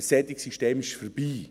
Ein solches System ist vorbei.